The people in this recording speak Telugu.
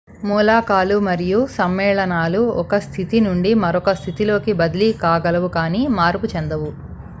మూలకాలు మరియు సమ్మేళనాలు ఒక స్థితి నుండి మరొక స్థితిలోకి బదిలీ కాగలవు కానీ మార్పు చెందవు